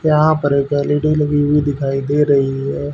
यहां पर एक एल_ई_डी लगी हुई दिखाई दे रही है।